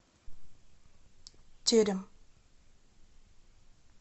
терем